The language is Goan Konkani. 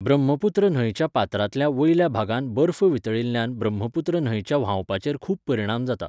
ब्रह्मपुत्र न्हंयच्या पात्रांतल्या वयल्या भागांत बर्फ वितळिल्ल्यान ब्रह्मपुत्र न्हंयच्या व्हांवपाचेर खूब परिणाम जाता.